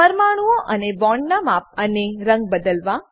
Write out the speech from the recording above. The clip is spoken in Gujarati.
પરમાણુંઓ અને બોન્ડોનાં માપ અને રંગ બદલવા